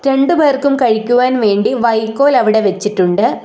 രണ്ടുപേർക്കും കഴിക്കുവാൻ വേണ്ടി വൈക്കോൽ അവിടെ വെച്ചിട്ടുണ്ട്.